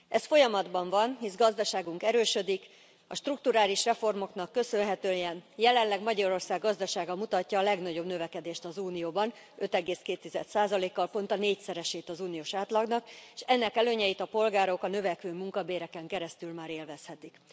Ez folyamatban van, hisz gazdaságunk erősödik, a strukturális reformoknak köszönhetően jelenleg Magyarország gazdasága mutatja a legnagyobb növekedést az Unióban, 5,2 kal pont a négyszeresét az uniós átlagnak, és ennek előnyeit a polgárok a növekvő munkabéreken keresztül már élvezhetik.